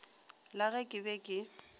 la ge ke be ke